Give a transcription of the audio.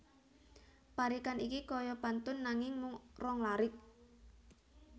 Parikan iki kaya pantun nanging mung rong larik